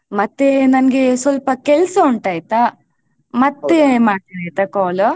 ಮತ್ತೆ ನನ್ಗೆ ಸ್ವಲ್ಪ ಕೆಲ್ಸ ಉಂಟಯ್ತಾ ಮತ್ತೆ ಮಾಡುವೆ ಆಯ್ತ call .